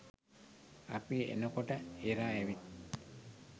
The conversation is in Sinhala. අපි එනකොට එරා ඇවිත්